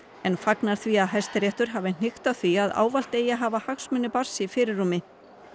en fagnar því að Hæstiréttur hafi hnykkt á því að ávallt eigi að hafa hagsmuni barns í fyrirrúmi